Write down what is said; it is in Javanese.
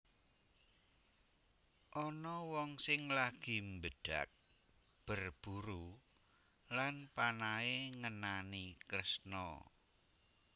Ana wong sing lagi mbedhag berburu lan panahe ngenani Kresna